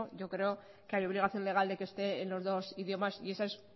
yo creo que hay obligación legal de que esté en los dos idiomas y esa es